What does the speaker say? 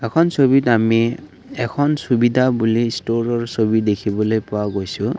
এখন ছবিত আমি এখন চোবিধা বুলি ষ্টোৰৰ ছবি দেখিবলৈ পোৱা গৈছো।